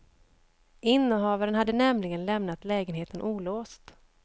Innehavaren hade nämligen lämnat lägenheten olåst.